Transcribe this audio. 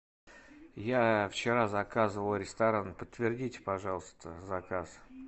я вчера заказывал ресторан подтвердите пожалуйста заказ